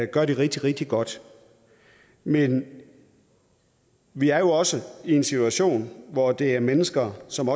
gør det rigtig rigtig godt men vi er jo også i en situation hvor det er mennesker som